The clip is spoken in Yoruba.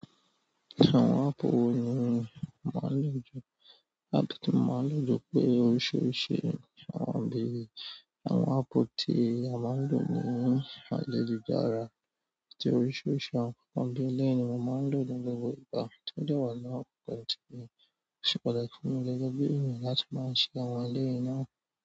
Àwọn áàpù wo ni o máa ń lò jù? Áàpù tí mo máa n lò jù pé oríṣiríṣi, àwọn bíi, àwọn áàpù tí a máa ń lò ní ayélujára, bí i oríṣiríṣi àwọn ǹkan bíi eléyìí ni mo máa ń lò ní gbogbo ìgbà tí ó dẹ̀ wàá ọkàn mi. Ó ṣe pàtàkì fún mi gẹ́gẹ́ bí ènìyàn láti máa ṣe àwọn eléyìí náà.